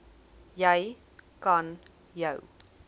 jy kan jou